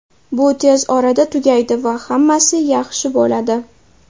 Bu tez orada tugaydi va hammasi yaxshi bo‘ladi.